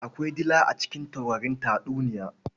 Akwai dila a cikin taurarin tatuniya.